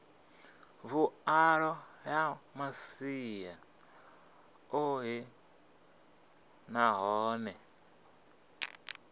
vhuḓalo ya masia oṱhe nahone